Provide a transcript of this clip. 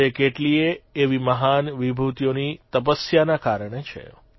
તે કેટલીયે એવી મહાન વિભૂતિઓની તપસ્યાના કારણે છે